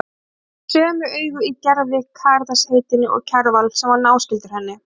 Ég þekkti þessi sömu augu í Gerði, Karitas heitinni og Kjarval, sem var náskyldur henni.